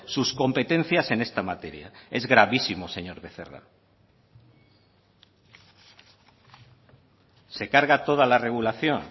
sus competencias en esta materia es gravísimo señor becerra se carga toda la regulación